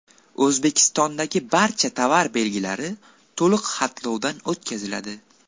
O‘zbekistondagi barcha tovar belgilari to‘liq xatlovdan o‘tkaziladi.